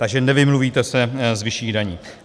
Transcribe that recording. Takže nevymluvíte se z vyšších daní.